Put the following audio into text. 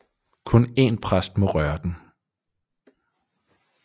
Kun én præst må røre den